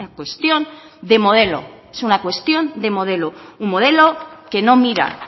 cuestión de modelo es una cuestión de modelo un modelo que no mira